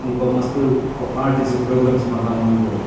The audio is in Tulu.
ಮುಲ್ಪ ಮಸ್ತ್ ಪ ಪಾರ್ಟೀಸ್ ಪ್ರೋಗ್ರಾಮ್ಸ್ ಮಾತ ಆವೊಂದು ಉಲ್ಲೆರ್.